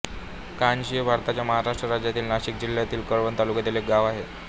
कानशी हे भारताच्या महाराष्ट्र राज्यातील नाशिक जिल्ह्यातील कळवण तालुक्यातील एक गाव आहे